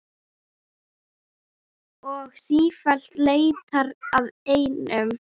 Og sífellt leitar að einum.